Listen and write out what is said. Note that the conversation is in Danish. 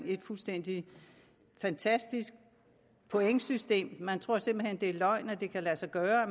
et fuldstændig fantastisk pointsystem man tror simpelt hen det er løgn at det kan lade sig gøre at